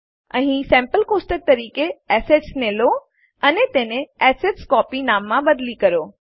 અહીં sample table નમૂનો table તરીકે Assetsને લો અને તેને એસેટસ્કોપી નામમાં બદલી કરો